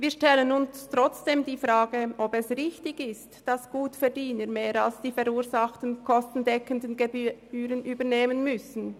Wir stellen uns trotzdem die Frage, ob es richtig ist, dass Gutverdiener mehr als die verursachten kostendeckenden Gebühren übernehmen müssen.